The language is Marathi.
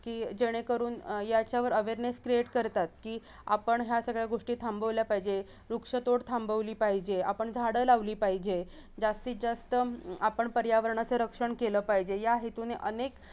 की जेणेकरून अह याचावर awareness create करतात की आपण ह्या सगळ्या गोष्टी थांबवल्या पाहिजे वृक्षतोड थांबवली पाहिजे आपण झाडं लावली पाहिजे जास्तीत जास्त हम्म आपण पर्यावरणाचं रक्षण केलं पाहिजे या हेतूने अनेक